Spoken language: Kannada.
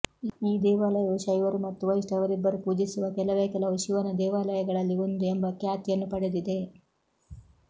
ಈ ದೇವಾಲಯವು ಶೈವರು ಮತ್ತು ವೈಷ್ಣವರಿಬ್ಬರು ಪೂಜಿಸುವ ಕೆಲವೆ ಕೆಲವು ಶಿವನ ದೇವಾಲಯಗಳಲ್ಲಿ ಒಂದು ಎಂಬ ಖ್ಯಾತಿಯನ್ನು ಪಡೆದಿದೆ